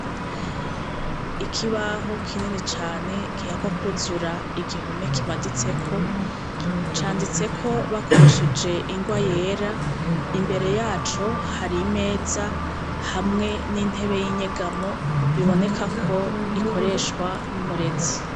Ikibaho kinini cane gihakwa kwuzura igihome kimaditseko canditseko bakoresheje ingwa yera imbere yaco hari imeza hamwe n'intebe y'inyegamo biboneka ko ikoreshwa n'umurezi.